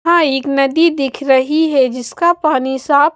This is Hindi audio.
हाँ एक नदी दिख रही है जिसका पानी साफ--